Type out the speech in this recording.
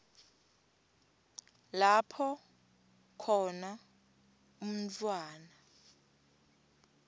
lapho khona umntfwana